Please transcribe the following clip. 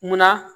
Munna